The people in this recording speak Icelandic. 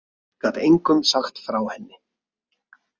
Ég gat engum sagt frá henni.